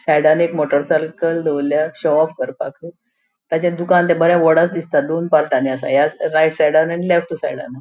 साइडान एक motor cycle दोवोरल्या शोऑफ करपाक तेजे दुकान बरे वडस दिसता दोन पार्टानी असा राइट सायडान आणि लेफ्ट सायडान .